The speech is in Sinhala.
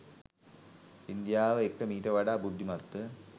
ඉන්දියාව එක්ක මීට වඩා බුද්ධිමත්ව